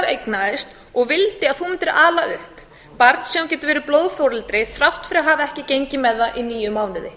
eignaðist og vildi að þú mundir ala upp barn sem þú gætir verið blóðforeldri þrátt fyrir að hafa ekki gengið með það í níu mánuði